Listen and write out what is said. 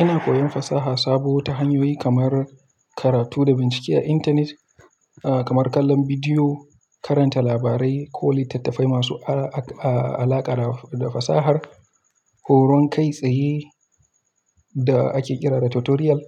Ina koyon fasaha sabo ta hanyoyi kamar karatu da bincike a intanet, kamar kallon bidiyo, karanta labarai ko littattafai masu alaƙa da fasahar, horon kai tsaye da ake kira da tutorial,